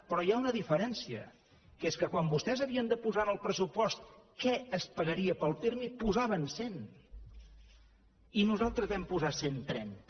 però hi ha una diferència que és que quan vostès havien de posar en el pressupost què es pagaria pel pirmi en posaven cent i nosaltres hi vam posar cent i trenta